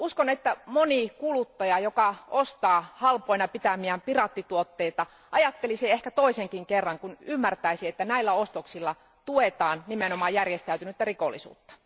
Uskon, että moni kuluttaja joka ostaa halpoina pitämiään piraattituotteita, ajattelisi ehkä toisenkin kerran, kun ymmärtäisi, että näillä ostoksilla tuetaan nimenomaan järjestäytynyttä rikollisuutta.